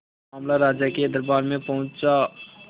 मामला राजा के दरबार में पहुंचा